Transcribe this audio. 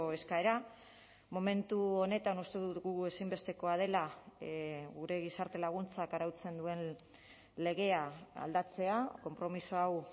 eskaera momentu honetan uste dugu ezinbestekoa dela gure gizarte laguntzak arautzen duen legea aldatzea konpromiso hau